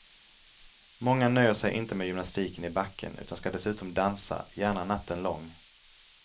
Många nöjer sig inte med gymnastiken i backen utan skall dessutom dansa, gärna natten lång.